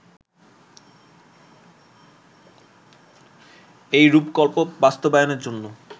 এই রূপকল্প বাস্তবায়নের জন্য